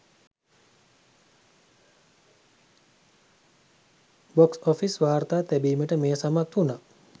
Box office වාර්තා තැබීමට මෙය සමත් වුනා.